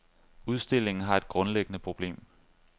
Udstillingen har et grundlæggende problem.